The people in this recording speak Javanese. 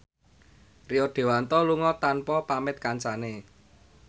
Rio Dewanto lunga tanpa pamit kancane